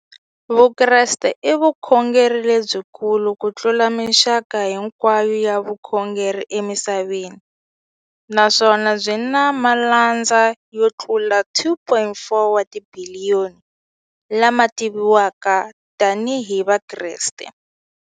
Vukreste i vukhongeri lebyi kulu kutlula mixaka hinkwayo ya vukhongeri emisaveni, naswona byi na malandza yo tlula 2.4 wa tibiliyoni, la ma tiviwaka tani hi Vakreste.